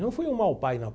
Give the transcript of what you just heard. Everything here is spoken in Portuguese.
Não fui um mau pai, não.